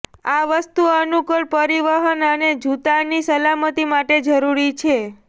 આ વસ્તુ અનુકૂળ પરિવહન અને જૂતાની સલામતી માટે જરૂરી છે